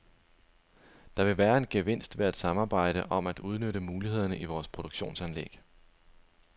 Der vil være en gevinst ved at samarbejde om at udnytte mulighederne i vores produktionsanlæg.